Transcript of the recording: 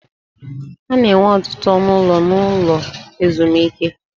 A na-enwe ọtụtụ ọnụ ụlọ n'ụlọ ezumike.